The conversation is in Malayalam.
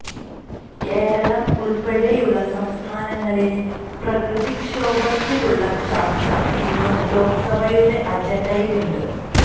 കേരളം ഉൾപ്പെടെയുള്ള സംസ്ഥാനങ്ങളിലെ പ്രകൃതിക്ഷോഭത്തിലുള്ള ചർച്ച ഇന്നും ലോക്സഭയുടെ അജണ്ടയിൽ ഉണ്ട്